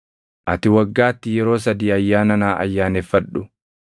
“Ati waggaatti yeroo sadii ayyaana naa ayyaaneffadhu.